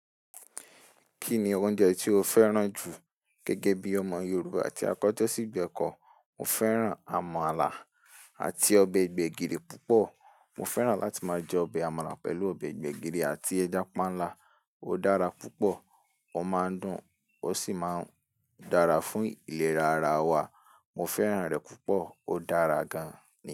Kí ni oúnjẹ tí o fẹ́ràn jù gẹ́gẹ́ bí ọmọ Yorùbá àti akọ̀ tọ̀ sí gbẹ̀kọ̀? Mo fẹ́ràn àmàlà àti ọbẹ̀ gbẹ̀gìrì púpọ̀. Mo fẹ́ràn láti máa jẹ ọbẹ̀ àmàlà pẹ̀lú ọbẹ̀ gbẹ̀gìrì àti ẹja pánlà. Ó dára púpọ̀, ó máa ń dùn, ó sì máa ń dára fún ìlera ara wa. Mo fẹ́ràn rẹ̀ púpọ̀, ó dára gan-an ni.